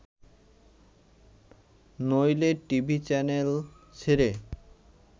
নইলে TV channel ছেড়ে